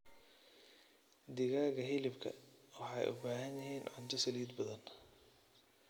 Digaaga hilibka waxay u baahan yihiin cunto saliid badan.